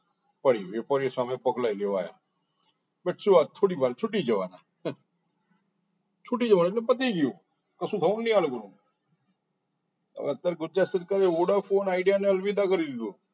ફરી વેપારી એ સામે પકડી જવાયા પણ શું વાત થોડીવાર છૂટી જવાના છુટી જવાના એટલે પતિ ગયું કશું ઘણે નહી આ લોકો અત્યારે ગુજરાત સરકાર એ vodafone idea અને અલવિદા